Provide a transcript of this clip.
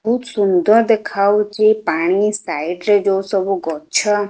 ବୋହୁତ ସୁନ୍ଦର ଦେଖାଯାଉଛି ପାଣି ସାଇଡରେ ଯୋଉ ସବୁ ଗଛ।